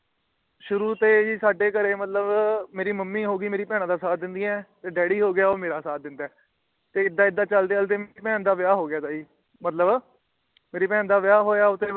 ਸ਼ੁਰੂ ਤੇ ਜੀ ਸਾਡੇ ਘਰ ਮਤਲਬ ਮੇਰੀ ਮੰਮੀ ਹੋਗੀ ਊ ਬਹਿਣਾ ਦਾ ਸਾਥ ਦੇਂਦੀ ਹੈ ਡੱਡੀ ਮੇਰਾ ਸਾਥ ਦਿੰਦਾ ਹੈਂ ਤੇ ਇੱਦਾ -ਇੱਦਾ, ਚਲਦੇ -ਚਲਦੇ ਮੇਰੀ ਬਹਿਣ ਦਾ ਵਿਆਹ ਹੋ ਗਿਆ ਸੀ ਮਤਲਬ ਮੇਰੀ ਬਹਿਣ ਦਾ ਵਿਆਹ ਹੋਇਆ ਆਉਂਦੇ ਬਾਦ